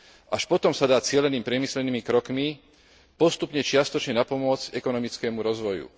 Až potom sa dá cielenými priemyselnými krokmi postupne čiastočne napomôcť ekonomickému rozvoju.